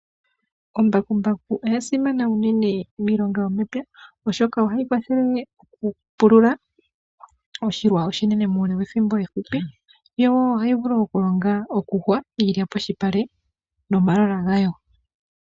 Ombakumbaku oya simana unene miilonga yomepya oshoka ohayi kwathele okupulula oshilwa oshinene muule wethimbo efupi yo wo ohayi vulu okulonga, okuyungula iilya polupale nomalola gawo.